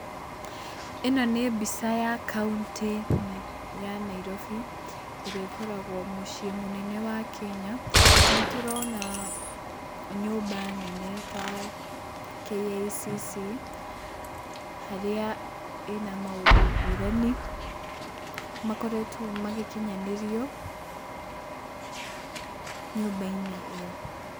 Ĩno nĩ mbica ya kauntĩ nene ya Nairobi ,ĩrĩa ĩkoragwo mũciĩ mũnene wa Kenya, nĩtũrona nyũmba nene ta KICC harĩaĩnamaũndũ ngũrani makoretwo magĩkinyanĩrio nyũmbainĩ ĩyo.